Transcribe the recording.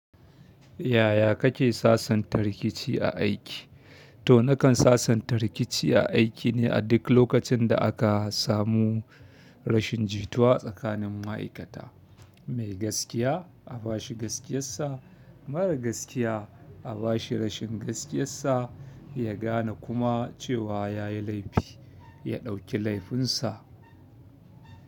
Yaya kake sasanta rikici a aiki? To nakan sasanta rikici a aiki ne a duk lokacin da aka samu rashin jituwa tsakanin ma'aikata. Mai gaskiya a ba shi gaskiyarsa, mara gaskiya a ba shi rashin gaskiyarsa, ya gane kuma cewa ya yi laifi, ya ɗauki laifinsa.